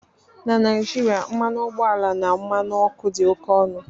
Na Naijiria, mmanụ ọgbọ ala na mmanụ ọkụ dị oke ọnụ